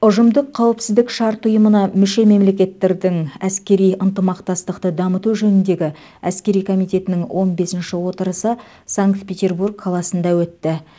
ұжымдық қауіпсіздік шарт ұйымына мүше мемлекеттердің әскери ынтымақтастықты дамыту жөніндегі әскери комитетінің он бесінші отырысы санкт петербург қаласында өтті